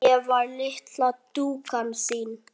Ég var litla dúkkan þín.